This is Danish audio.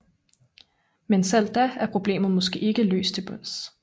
Men selv da er problemet måske ikke løs til bunds